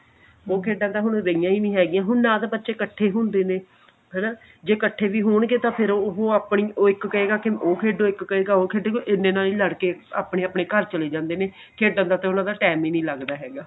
ਉਹ ਖੇਡਾਂ ਤਾਂ ਹੁਣ ਰਹੀਆਂ ਨੀ ਹੈਗਿਆ ਹੁਣ ਨਾ ਤਾਂ ਬੱਚੇ ਇੱਕਠੇ ਹੁੰਦੇ ਨੇ ਹਨਾ ਜੇ ਇੱਕਠੇ ਵੀ ਹੋਣਗੇ ਉਹ ਆਪਣੀ ਫੇਰ ਉਹ ਇੱਕ ਕਹੇਗਾ ਉਹ ਖੇਡੋ ਇੱਕ ਕਹੇਗਾ ਉਹ ਖੇਡੋ ਇਹਨੇ ਨਾਲ ਹੀ ਲੜ ਕੇ ਉਹ ਆਪਣੇ ਆਪਣੇ ਘਰ ਚਲੇ ਜਾਂਦੇ ਨੇ ਖੇਡਣ ਦਾ ਤਾਂ ਉਹਨਾਂ ਦਾ time ਹੀ ਨਹੀਂ ਲਗਦਾ ਹੈਗਾ